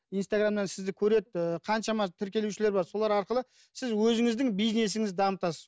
инстаграмнан сізді көреді ііі қаншама тіркелушілер бар солар арқылы сіз өзіңіздің бизнесіңізді дамытасыз